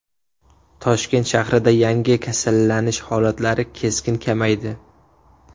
Toshkent shahrida yangi kasallanish holatlari keskin kamaydi.